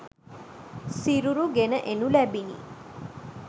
සිරුරු ගෙන එනු ලැබිණි